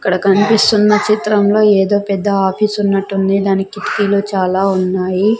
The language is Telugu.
ఇక్కడ కన్పిస్తున్న చిత్రంలో ఏదో పెద్ద ఆఫీసున్నట్టుంది దానిక్ కిటికీలు చాలా ఉన్నాయి.